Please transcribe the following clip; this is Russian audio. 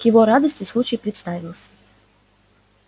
к его радости случай представился